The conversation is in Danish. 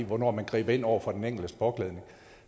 hvornår man griber ind over for den enkeltes påklædning